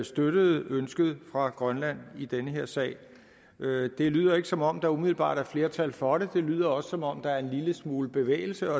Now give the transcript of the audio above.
støttede ønsket fra grønland i den her sag det lyder ikke som om der umiddelbart er flertal for det det lyder også som om der er en lille smule bevægelse